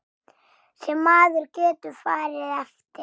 Sem maður getur farið eftir.